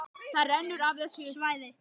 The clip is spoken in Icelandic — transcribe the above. Það rennur af þessu svæði.